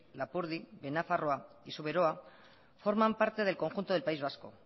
lapurdi behe nafarroa y zuberoa forman parte del conjunto del país vasco